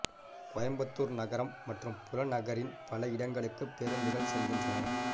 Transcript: கோயம்புத்தூர் நகரம் மற்றும் புறநகரின் பல இடங்களுக்கு பேருந்துகள் செல்கின்றன